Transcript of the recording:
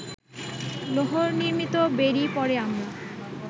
লৌহনির্ম্মিত বেড়ী পরে আমরা